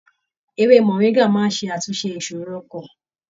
Ewé moringa máa n ṣàtúnṣe ìṣòro ọkàn.